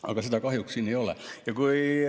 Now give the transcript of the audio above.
Aga seda kahjuks siin ei ole.